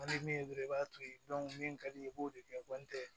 min ye dɔrɔn i b'a to yen min ka di i ye i b'o de kɛ